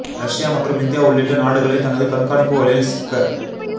Russia மற்றும் India உள்ளிட்ட நாடுகளை தனது கண்காணிப்பு வலையில் சிக்க